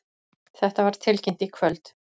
Þetta var tilkynnt í kvöld